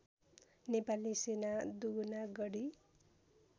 नेपाली सेना दुगुनागढी